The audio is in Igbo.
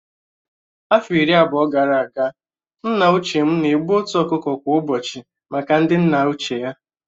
Afọ iri abụọ gara aga, nna ochie m na-egbu otu ọkụkọ kwa ụbọchị maka ndị nna ochie ya